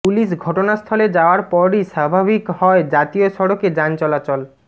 police ঘটনাস্থলে যাওয়ার পরই স্বাভাবিক হয় জাতীয় সড়কে যান চলাচল